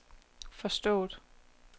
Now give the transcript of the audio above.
forstået